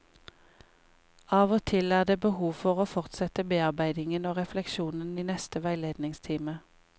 Av og til er det behov for å fortsette bearbeidingen og refleksjonen i neste veiledningstime.